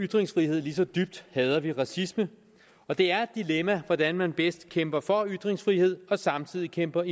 ytringsfrihed lige så dybt hader vi racisme og det er et dilemma hvordan man bedst kæmper for ytringsfrihed og samtidig kæmper